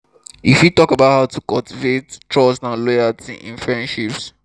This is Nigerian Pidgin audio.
you fit talk about how to cultivate trust and loyalty in in friendships.